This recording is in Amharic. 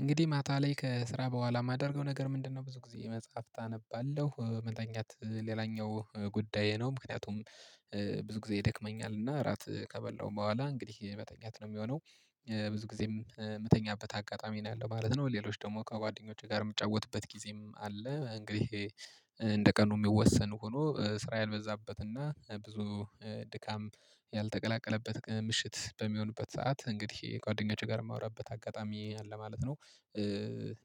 እንግዲህ ማታ ላይ ከስራ በኋላ የማደርገው ነገር ምንድነው? ብዙ ጊዜ መጽሐፍት አነባለሁ መተኛት ሌላኛው ጉዳዬ ነው ምክንያቱም ብዙ ጊዜ ይደክመኛል እና እራት ከበላው በኋላ እንግዲህ መተኛት ነው የሚሆነው ብዙ ጊዜም የምተኛበት አጋጣሚ ነው ያለው ማለት ነው። ሌሎች ደግሞ ከጓደኞቼ ጋር የምጫወትበት ጊዜም አለ እንግዲህ እንደ ቀኑ የሚወሰን ሆኖ ስራ ያልበዛበትና ብዙ ድካም ያልተቀላቀለበት ምሽት በሚሆንበት ሰዓት እንግዲህ ጓደኞቼ ጋር የማወራበት አጋጣሚ አለ ማለት ነው።